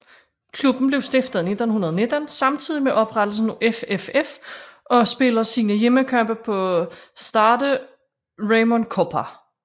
Klubben blev stiftet i 1919 samtidig med oprettelsen af FFF og spiller sine hjemmekampe på Stade Raymond Kopa